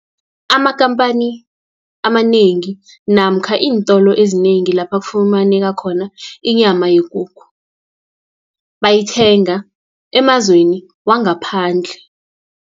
Amakampani amanengi, namkha iintolo ezinengi lapha kufumaneka khona inyama yekukhu, bayithenga emazweni wangaphandle.